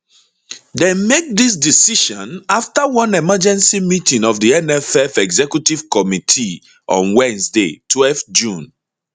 dem make dis decision afta one emergency meeting of di nff executive committee on wednesday twelve june